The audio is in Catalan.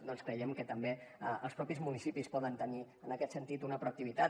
doncs creiem que també els mateixos municipis poden tenir en aquest sentit una proactivitat